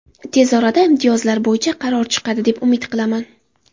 Tez orada imtiyozlar bo‘yicha qaror chiqadi, deb umid qilaman.